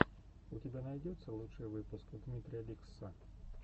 у тебя найдется лучший выпуск дмитрия ликсссса